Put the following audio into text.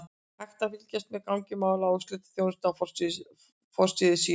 Hægt er að fylgjast með gangi mála á úrslitaþjónustu á forsíðu síðunnar.